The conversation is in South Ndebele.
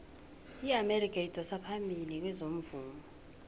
iamerika idosa phambili kezomvumo